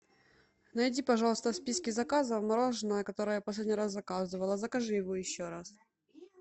найди пожалуйста в списке заказов мороженое которое я последний раз заказывала закажи его еще раз